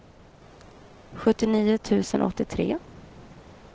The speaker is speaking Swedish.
sjuttionio tusen åttiotre